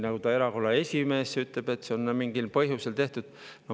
Ta erakonna esimees ütleb, et see on mingil põhjusel tehtud.